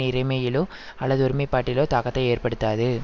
இறைமையிலோ அல்லது ஒருமைப்பாட்டிலோ தாக்கத்தை ஏற்படுத்தாது